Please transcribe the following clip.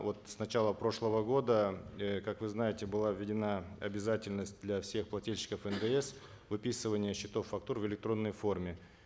вот с начала прошлого года э как вы знаете была введена обязательность для всех плательщиков ндс выписывание счетов фактур в электронной форме